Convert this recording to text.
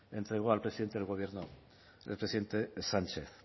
entregó al presidente del gobierno el presidente sánchez